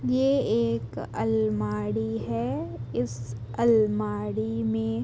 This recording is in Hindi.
ये एक अलमाड़ी है इस अलमाड़ी में --